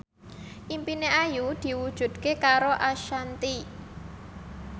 impine Ayu diwujudke karo Ashanti